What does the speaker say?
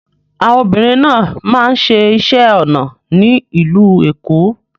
Àwọn obìnrin náà máa ń ṣẹ iṣẹ́ onà ní ilú Ékó